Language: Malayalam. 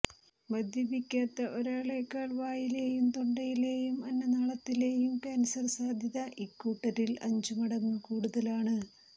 മദ്യപിക്കാത്ത ഒരാളെക്കാൾ വായിെലയും തൊണ്ടയിലെയും അന്നനാളത്തിലെയും കാൻസർ സാധ്യത ഇക്കൂട്ടരിൽ അഞ്ചു മടങ്ങു കൂടുതലാണ്